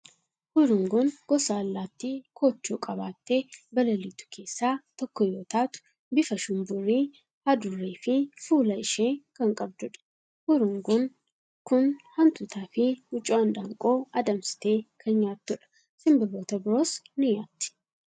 Hurunguun gosa allaattii koochoo qabaattee balaliitu keessaa tokko yoo taatu, bifa shumburii hadurree fi fuula ishee kan qabdudha. Hurunguun kun hantuutaa fi wucoo handaaqqoo adamsitee kan nyaattudha. Simbirroota biroos ni nyaatti.